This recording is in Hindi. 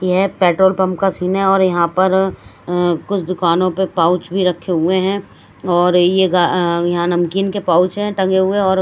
यह पेट्रोल पंप का सीन और यहां पर अह कुछ दुकानों पे पाउच भी रखे हुए हैं और ये अह यहां नमकीन के पाउच हैं टंगे हुए और--